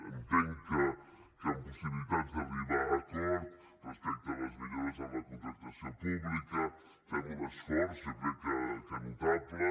entenc que amb possibilitats d’arribar a acords respecte a les millores en la contractació pública hi fem un esforç jo crec que notable